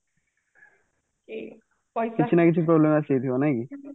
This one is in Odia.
କିଛି ନା କିଛି problem ଆସିଯାଉଥି ବ ନାଇକି